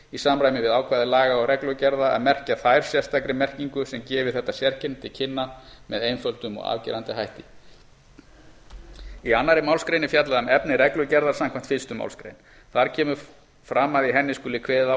í samræmi við ákvæði laga og reglugerða að merkja þær sérstakri merkingu sem gefi þetta sérkenni þeirra til kynna með einföldum og afgerandi hætti í annarri málsgrein er fjallað um efni reglugerðar samkvæmt fyrstu málsgrein þar kemur fram að í henni skuli kveðið á